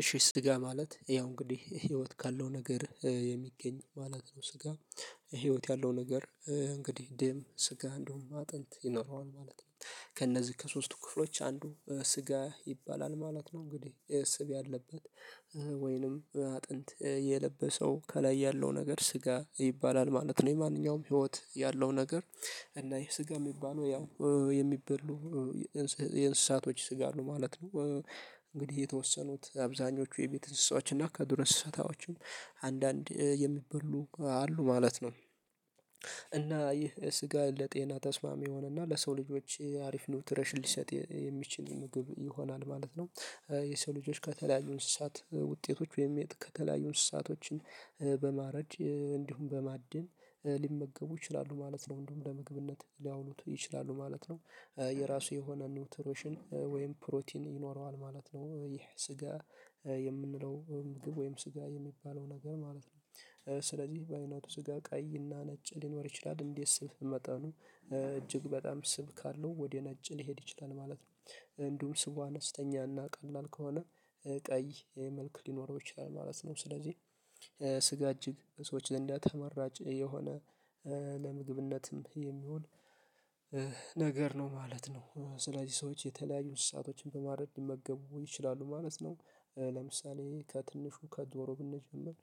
እሺ ስጋ ማለት ያው እንግዲህ ህይወት ካለው ነገር የሚገኝ ማለት ነው ስጋ ህይወት ያለው ነገር እንግዲህ ደም ስጋ እንደውም አጥንት ይኖረዋል ማለት ነው። ከእነዚህ ከሶስቱ ክፍሎች አንዱ ስጋ ይባላል ማለት ነው እንግዲህ ስብ ያለበት ወይንም አጥንት የለበሰው ከላይ ያለው ነገር ስጋ ይባላል ማለት ነው የማንኛውም ህይወት ያለው ነገር እና ይሄ ስጋ የሚባለው ያው የሚበሉ የእንስሳቶች ስጋ ነው ማለት ነው። እንግዲህ የተወሰኑት አብዛኞቹ የቤት እንስሳዎች እና ከዱር እስሳታዎችም አንዳንድ የሚበሉ አሉ ማለት ነው። እና ይህ ስጋ ለጤና ተስማሚ የሆነና ለሰው ልጆች አሪፍ ነው ትረሽን ሊሰጥ የሚችል ምግብ ይሆናል ማለት ነው። የሰው ልጆች ከተለያዩ እንስሳት ውጤቶች ወይም ከተለያዩ እንስሳቶችን በማረድ እንዲሁም በማድን ሊመገቡ ይችላሉ ማለት ነው። እንደውም ለምግብነት ሊያውሉት ይችላሉ ማለት ነው የራሱ የሆነ ኒውትሮሽን ወይም ፕሮቲን ይኖረዋል ማለት ነው ይህ ስጋ የምንለው ምግብ ወይም ስጋ የሚባለው ነገር ማለት ነው። ስለዚህ በአይነቱ ስጋ ቀይ አና ነጭ ሊኖር ይችላል እንዴት ስብ መጠኑ እጅግ በጣም ስብ ካለው ወደ ነጭ ሊሄድ ይችላል ማለት ነው። እንዲሁም ስቡ አነስተኛ አና ቀላል ከሆነ ቀይ መልክ ሊኖረው ይችላል ማለት ነው። ስለዚህ ስጋ እጅግ ሰዎች ለእንዲያ ተመራጭ የሆነ ለምግብነትም የሚሆን ነገር ነው ማለት ነው። ስለዚህ ሰዎች የተለያዩን ሰአቶችን በማድረግ ሊመገቡ ይችላሉ ማለት ነው ለምሳሌ ከትንሹ ከዶሮ ብንጀምር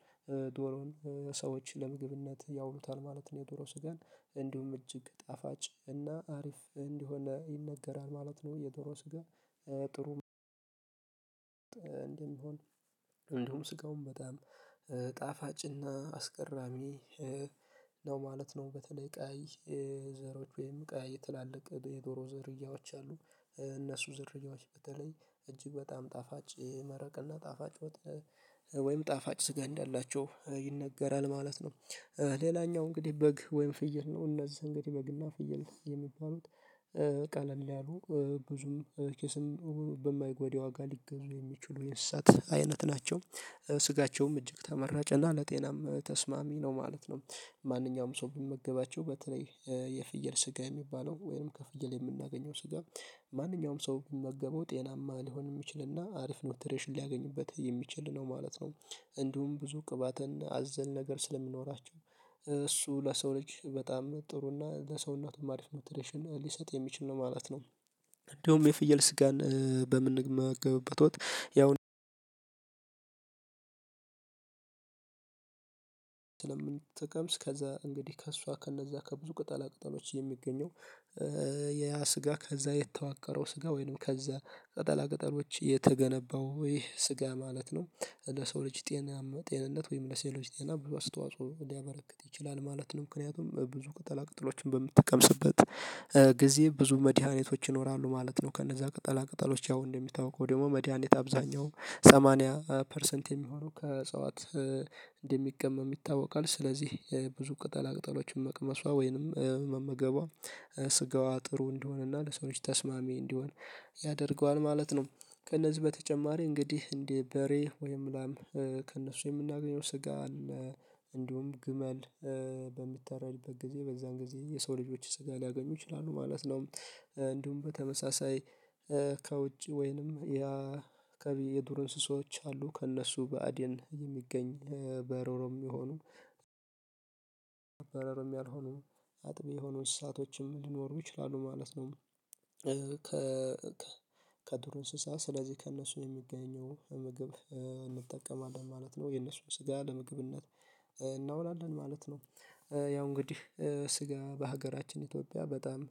ዶሮውን ሰዎችን ለምግብነት ያውሉታል ማለት ነው። የዶሮ ስጋን እንዲሁም እጅግ ጣፋጭ እና አሪፍ እንዲሆን ይነገራል ማለት ነው የዶሮ ስጋ ጥሩ እንደሚሆን ቢሆን እንዲሁም ስጋውን በጣም ጣፋጭና አስገራሚ ነው ማለት ነው። በተለይ ቀያይ ዘሮች ወይም ቀያይ ትላልቅ የዶሮ ዘሪያዎች አሉ። እነሱ ዘሪያዎች በተለይ እጅግ በጣም ጣፋጭ መረቅና ጣፋጭ ወይም ጣፋጭ ስጋ እንዳላቸው ይነገራል ማለት ነው። ሌላኛው እንግዲህ በግ ወይም ፍየል ነው እነዚህ እንግዲህ በግና ፍየል የሚባሉት ቀለል ያሉ ብዙም ኪስን በማይጓዱ ዋጋ ሊገዙ የሚችሉ የንስሳት አይነት ናቸው። ስጋቸውም እጅግ ተመራጭ እና ለጤናም ተስማሚ ነው ማለት ነው። ማንኛውም ሰው ብንመገባቸው በተለይ የፍየል ስጋ የሚባለው ወይንም ከፍየል የምናገኘው ስጋ ማንኛውም ሰው ብመገበው ጤናማ ሊሆን የሚችልና አሪፍ ኖትሬሽን ሊያገኙበት የሚችል ነው ማለት ነው። እንዲሁም ብዙ ቅባትን አዘል ነገር ስለምኖራቸው እሱ ለሰው ልጅ በጣም ጥሩ እና ለሰው እናቱም አሪፍ ኑትሬሽን ሊሰጥ የሚችል ነው ማለት ነው። እንደውም የፍየል ስጋን በምንመገብበት ወቅት ያው ስለምንተቀምስ ከዛ እንግዲህ ከእሷ ከእነዛ ከብዙ ቅጠላ ቅጠሎች የሚገኘው ያ ስጋ ከዛ የተዋቀረው ስጋ ወይንም ከዛ ቀጠላ ቀጠሎች የተገነባው ይህ ስጋ ማለት ነው ለሰው ልጅ ጤናማ ጤንነት ወይም ለሴሎች ጤና ብዙ አስተዋጽኦ ሊያበረክት ይችላል ማለት ነው። ምክንያቱም ብዙ ቅጠላ ቅጠሎችን በምትጠቀምስበት ጊዜ ብዙ መድኃኒቶች ይኖራሉ ማለት ነው። ከነዛ ቅጠላ ቅጠሎች ያው እንደሚታወቀው ደግሞ መድሃኒት አብዛኛው ሰማንያ ፐርሰንት የሚሆነው ከእጽዋት እንደሚቀመም ይታወቃል ስለዚህ ብዙ ቅጠላ ቅጠሎችን መቅመሷ ወይንም መመገቧ ስጋዋ ጥሩ እንደሆነና ለሰዎች ተስማሚ እንዲሆን ያደርገዋል ማለት ነው። ከእነዚህ በተጨማሪ እንግዲህ እንደ በሬ ወይም ላም ከእነሱ የምናገኘው ስጋ አለ እንዲሁም ግመል በምታረድበ ጊዜ በዛን ጊዜ የሰው ልጆች ስጋ ሊያገኙ ይችላሉ ማለት ነው። እንዲሁም በተመሳሳይ ከውጭ ወይንም ያ ከቢ የዱር እንስሳዎች አሉ ከእነሱ በአዴን የሚገኝ በሮሮም የሚሆኑ በረሮም ያልሆኑ አጥቢ የሆኑ እሳቶችም ሊኖሩ ይችላሉ ማለት ነው። ከ ከዱር እንስሳ ስለዚህ ከእነሱ የሚገኘው ምግብ እንጠቀማለን ማለት ነው የነሱን ስጋ ለምግብነት እናውላለን ማለት ነው። ያው እንግዲህ ስጋ በሀገራችን ኢትዮጵያ በጣም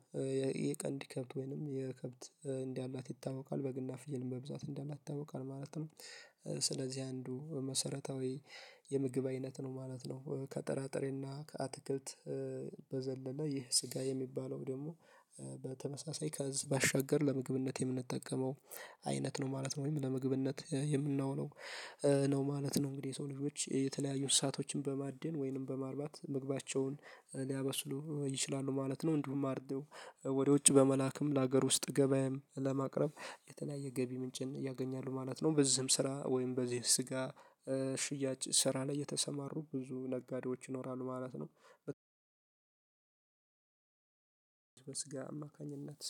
የቀንድ ከብት ወይንም የከብት እንዳላት ይታወቃል። በግና ፍየልም በብዛት እንዳላት ይታወቃል ማለት ነው። ስለዚህ አንዱ መሰረታዊ የምግብ አይነት ነው ማለት ነው ከጠራጥሬና ከአትክልት በዘለለ ይህ ስጋ የሚባለው ደግሞ በተመሳሳይ ከእዝ ባሻገር ለምግብነት የምንጠቀመው አይነት ነው ማለት ነው። ወይም ለምግብነት የምናውለው ነው ማለት ነው እንግዲህ የሰው ልጆች የተለያዩ አንስሳቶችን በማድን ወይንም በማርባት ምግባቸውን ሊያበስሉ ይችላሉ ማለት ነው። እንድቡም አርደው ወደ ውጭ በመላክም ለሀገር ውስጥ ገበያም ለማቅረብ የተለያየ ገቢ ምንጭን ያገኛሉ ማለት ነው። በዚህም ስራ ወይም በዚህ ስጋ ሽያጭ ስራ ላይ የተሰማሩ ብዙ ነጋዴዎች ይኖራሉ ማለት ነው። አማካኝነት